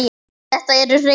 Þetta eru hrein tár.